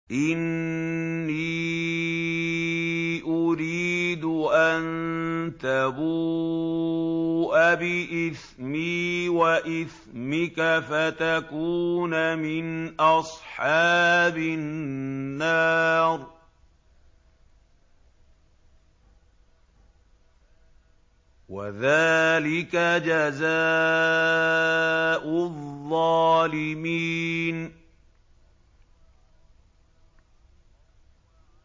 إِنِّي أُرِيدُ أَن تَبُوءَ بِإِثْمِي وَإِثْمِكَ فَتَكُونَ مِنْ أَصْحَابِ النَّارِ ۚ وَذَٰلِكَ جَزَاءُ الظَّالِمِينَ